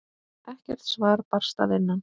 Ekkert svar barst að innan.